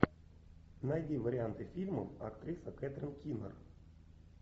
найди варианты фильмов актриса кэтрин кинер